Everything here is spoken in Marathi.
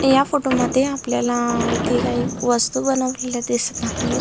या फोटो मध्ये आपल्याला येथे काही वस्तू बनवलेल्या दिसत आहेत.